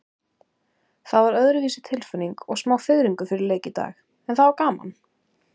Það var öðruvísi tilfinning og smá fiðringur fyrir leik í dag, en það var gaman.